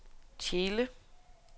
Tjele